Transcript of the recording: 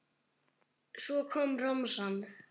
Svo kom romsan.